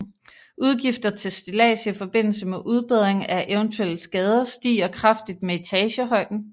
Udgifter til stillads i forbindelse med udbedring af eventuelle skader stiger kraftigt med etagehøjden